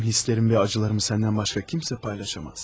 Mənim hisslərimi və ağrılarımı səndən başqa heç kim paylaşa bilməz.